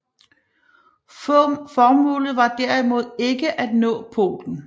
Formålet var derimod ikke at nå polen